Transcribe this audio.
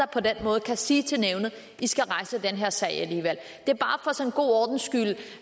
på den måde kan sige til nævnet at de skal rejse den her sag alligevel det